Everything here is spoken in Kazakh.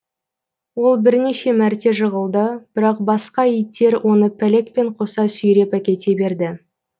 ол бірнеше мәрте жығылды бірақ басқа иттер оны пәлекпен қоса сүйреп әкете берді